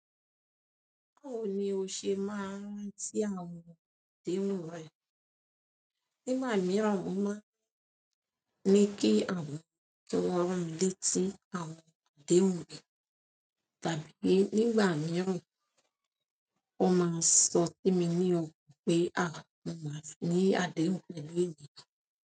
Báwo ni o ṣe máa ń rántí àwọn àdéhùn rẹ? Nígbà mìíràn ó máa ń ní kí àwọn kí wọ́n rán mi létí àwọn àdéhùn mi, tàbí nígbà mìíràn ó máa ń sọ sí mi ní òkan pé à mo máa ní àdéhùn lónìí.